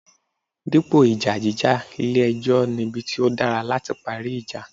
Dípò ìjà jíjà, ilé ẹjọ́ nibi tí ó dára láti parí ìjà.